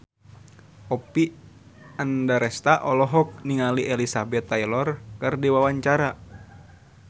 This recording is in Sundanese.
Oppie Andaresta olohok ningali Elizabeth Taylor keur diwawancara